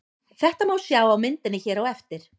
Þetta má sjá á myndinni hér á eftir.